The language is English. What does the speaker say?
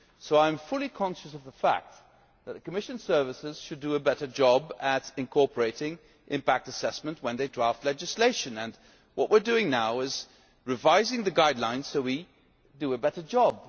So I am fully conscious of the fact that the Commission services should do a better job at incorporating impact assessment when they draft legislation. What we are doing now is revising the guidelines so that we do a better job.